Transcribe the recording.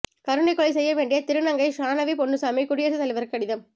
கருணைகொலை செய்ய வேண்டி திருநங்கை ஷானவி பொன்னுசாமி குடியரசுத் தலைவருக்கு கடிதம்